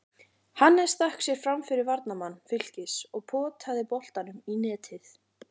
Hannes stakk sér framfyrir varnarmann Fylkis og potaði boltanum í netið.